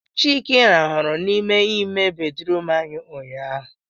Chike rarụ n'ime ime bedrum anyị ụnyaahụ